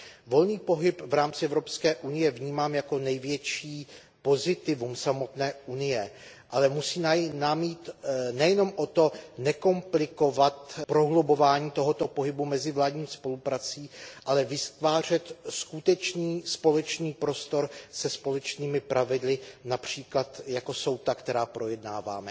Volný pohyb v rámci Evropské unie vnímám jako největší pozitivum samotné Unie, ale musí nám jít nejenom o to, nekomplikovat prohlubování tohoto pohybu mezivládní spoluprací, ale vytvářet skutečný společný prostor se společnými pravidly, například jako jsou ta, která projednáváme.